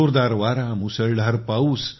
जोरदार वारा मुसळधार पाऊस